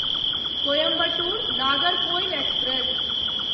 Coimbatore Nagercoil express